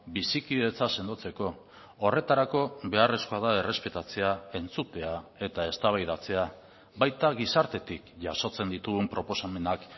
bizikidetza sendotzeko horretarako beharrezkoa da errespetatzea entzutea eta eztabaidatzea baita gizartetik jasotzen ditugun proposamenak